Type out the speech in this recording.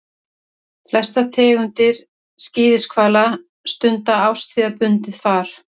Flestar tegundir skíðishvala stunda árstíðabundið far.